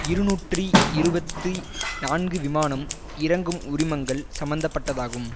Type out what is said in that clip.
இருநூற்றி இருபத்தி நான்கு விமானம் இறங்கும் உரிமங்கள் சம்மந்த பட்டதாகும்